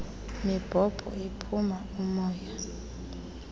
mibhobho iphuma umoya